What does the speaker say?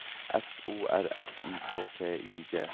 F O R S I K T I G